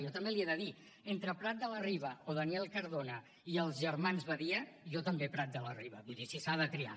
jo també li he de dir entre prat de la riba o daniel cardona i els germans badia jo també prat de la riba vull dir si s’ha de triar